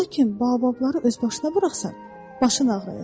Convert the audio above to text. Lakin baobabları öz başına buraxsan, başın ağrıyacaq.